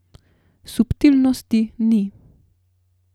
Subtilnosti ni.